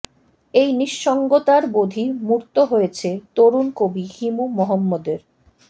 এই নিঃসঙ্গতার বোধই মূর্ত হয়েছে তরুণ কবি হিমু মোহাম্মদের